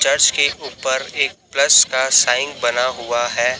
Church के ऊपर एक प्लस का साइन बना हुआ है।